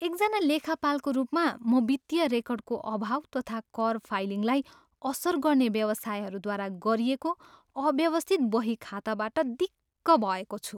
एकजना लेखापालको रूपमा, म वित्तीय रेकर्डको अभाव तथा कर फाइलिङलाई असर गर्ने व्यवसायहरूद्वारा गरिएको अव्यवस्थित बहीखाताबाट दिक्क भएको छु।